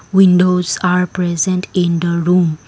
windows are present in the room.